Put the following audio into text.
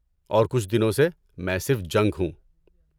اور کچھ دنوں سے، میں صرف جنک ہوں!